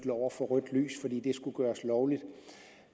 over for rødt lys fordi det skulle gøres lovligt